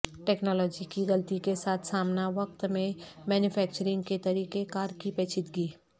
technology کی غلطی کے ساتھ سامنا وقت میں مینوفیکچرنگ کے طریقہ کار کی پیچیدگی